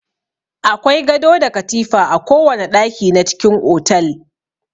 Akwai gado da katifa a kowana ɗaki na cikin otal.